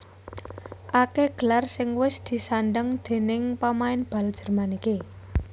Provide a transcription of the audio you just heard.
Akèh gelar sing wis disandhang déning pamain bal Jerman iki